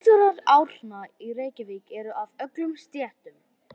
Bílstjórar Árna í Reykjavík eru af öllum stéttum.